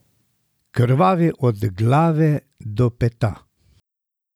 Krvavi od glave do peta.